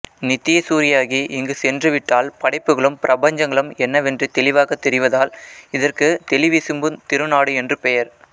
நித்ய சூரியாகி இங்கு சென்றுவிட்டால் படைப்புகளும் பிரபஞ்சங்களும் என்னவென்று தெளிவாகத் தெரிவதால் இதற்கு தெளிவிசும்புத் திருநாடு என்று பெயர்